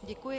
Děkuji.